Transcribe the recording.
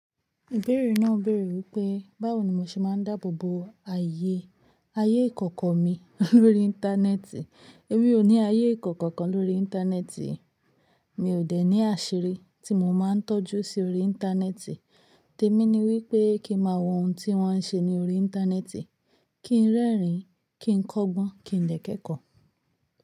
Ìbẹ̀rẹ̀ náà bẹ̀rẹ̀ wípé báwo ni mo ṣe máa ń dáàbò bo ayé, ayé ìkọ̀kọ̀ mi lórí internet. Èmi ò ní ayé ìkọ̀kọ̀ kan lórí Internet. Mi ò dẹ̀ ní àṣírí tí mo máa ń tọ́jú sí orí Internet. Temi ní wípé kí n máa wo ohun tí wọ́n ń ṣe ní orí internet, kí ń rẹ́rìn-ín, kí ń kọ́gbọ́n, kí ń dẹ̀ kẹ́kọ̀ọ́.